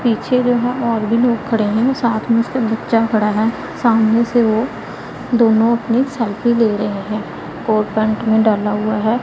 पीछे जो है और भी लोग खड़े हैं साथ में उसके बच्चा पड़ा है सामने से वो दोनों अपनी सेल्फी ले रहे हैं कोट पैंट में डाला हुआ है।